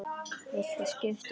Viltu skipta við mig?